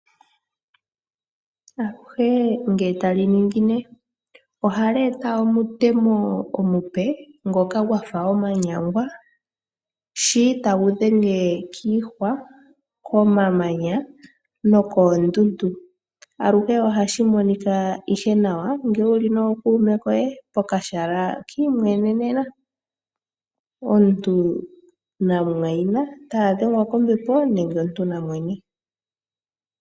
Aluhe ngele taliningine oha li eta omutemo omupe ngonga gwafa omanyangwa shi ta gu dhenge kiihwa, komamanya nokoondundu . Aluhe ohashi monika nawa ngele wuli nookuume koye ko kahala ki imwenenena. Omuntu na mu mwayina ta ya dhengwa kombepo nenge omuntu na mwene.